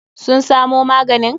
Sun samo maganin?